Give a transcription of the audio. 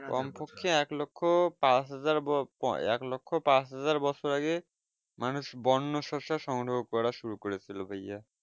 কম পক্ষে এক লক্ষ্য পাঁচ হাজার ব এক লক্ষ্য পাঁচ হাজার বছর আগে মানুষ বন্য শস্য সংগ্রহ করা শুরু করে ছিল ভাইয়া